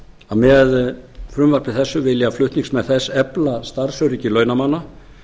að með frumvarpi þessu vilja flutningsmenn þess að efla starfsöryggi launamanna